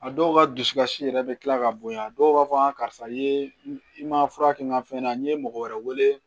A dɔw ka dusukasi yɛrɛ bɛ kila ka bonya dɔw b'a fɔ karisa i ye i ma fura kɛ n ka fɛn na n'i ye mɔgɔ wɛrɛ wele